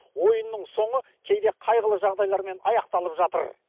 ойынның соңы кейде қайғылы жағдайлармен аяқталып жатыр